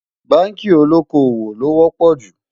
bánkì olókó owó ló wò pò jù